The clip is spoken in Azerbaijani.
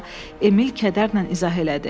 Emil kədərlə izah elədi.